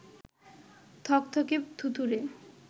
থকথকে থুতুতে